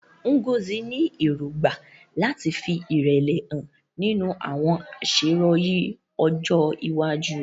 Ngozi ní èrògbà láti fi ìrẹ̀lẹ̀ hàn nínú àwọn àṣeyọrí ọjọ́ iwájú rẹ̀.